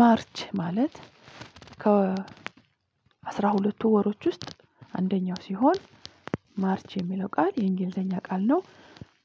ማርች ማለት ከ አስራ ሁለቱ ወሮች ውስጥ አንደኛው ሲሆን ማርች የሚለው ቃል የእንግሊዘኛ ቃል ነው